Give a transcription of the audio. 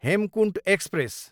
Hemkunt express